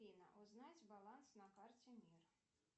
афина узнать баланс на карте мир